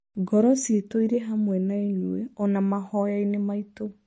ngoro ciitũ irĩ hamwe na inyuĩ na ona mahoya-inĩ maitũ!"